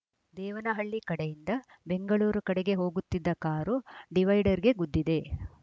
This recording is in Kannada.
ದೇವನಹಳ್ಳಿ ಕಡೆಯಿಂದ ಬೆಂಗಳೂರು ಕಡೆಗೆ ಹೋಗುತ್ತಿದ್ದ ಕಾರು ಡಿವೈಡರ್‌ಗೆ ಗುದ್ದಿದೆ